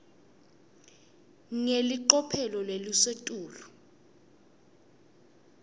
ngelicophelo lelisetulu